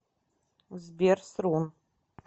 сбер срун